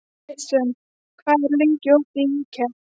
Jason, hvað er opið lengi í IKEA?